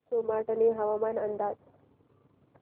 सोमाटणे हवामान अंदाज